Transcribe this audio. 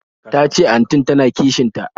Tace antin ta na kishin ta